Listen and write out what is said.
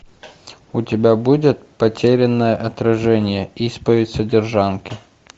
у тебя будет потерянное отражение исповедь содержанки